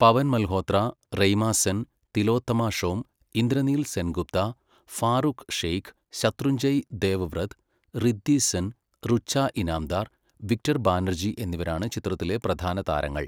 പവൻ Malhotra, Raima Sen, Tillotama Shome, Indraneil Sengupta, Farooq Sheikh, Shatrunjay Devvrat, Riddhi Sen, Rucha Inamdar, Victor Banerjee എന്നിവരാണ് ചിത്രത്തിലെ പ്രധാന താരങ്ങൾ.